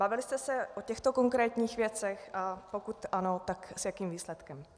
Bavili jste se o těchto konkrétních věcech, a pokud ano, tak s jakým výsledkem?